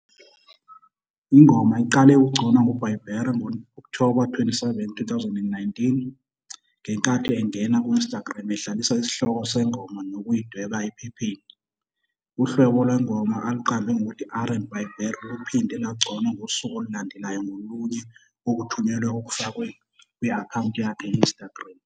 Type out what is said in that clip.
Ingoma iqale ukugconwa nguBieber ngo-Okthoba 27, 2019, ngenkathi engena ku-Instagram edlalisa isihloko sengoma ngokuyidweba ephepheni. Uhlobo lwengoma aluqambe ngokuthi "R and BIEBER" luphinde lwagconwa ngosuku olulandelayo ngolunye okuthunyelwe okufakwe kwi-akhawunti yakhe ye-Instagram.